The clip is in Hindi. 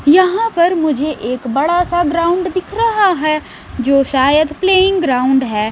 यहाँ पर मुझे एक बड़ा सा ग्राउंड दिख रहा है जो शायद प्लेइंग ग्राउंड है।